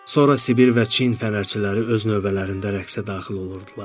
Sonra Sibir və Çin fənərçiləri öz növbələrində rəqsə daxil olurdular.